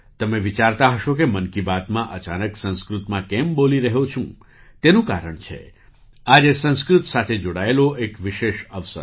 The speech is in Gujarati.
તમે વિચારતા હશો કે 'મન કી બાત'માં અચાનક સંસ્કૃતમાં કેમ બોલી રહ્યો છું તેનું કારણ છે આજે સંસ્કૃત સાથે જોડાયેલો એક વિશેષ અવસર